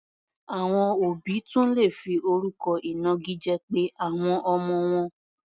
Àwọn òbí tún lè fi orúkọ ìnagijẹ pe àwọn ọmọ wọn.